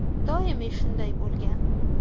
Doimiy shunday bo‘lgan.